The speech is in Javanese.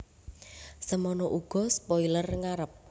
Semana uga spoiler ngarep